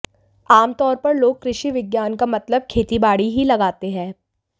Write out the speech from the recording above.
आमतौर पर लोग कृषि विज्ञान का मतलब खेतीबाड़ी ही लगाते हैं